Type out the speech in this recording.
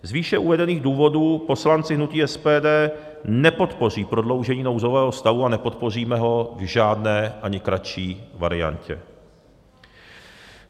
Z výše uvedených důvodů poslanci hnutí SPD nepodpoří prodloužení nouzového stavu a nepodpoříme ho v žádné, ani kratší variantě.